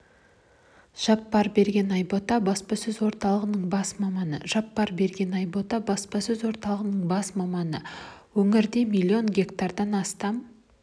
жаппарберген айбота баспасөз орталығының бас маманы жаппарберген айбота баспасөз орталығының бас маманы өңірде миллион гектардан астам